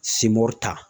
Simori ta